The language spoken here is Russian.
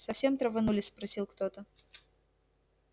совсем траванулись спросил кто-то